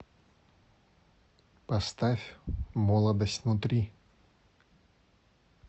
поставь молодость внутри